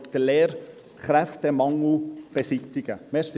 /… den Lehrkräftemangel beseitigen können.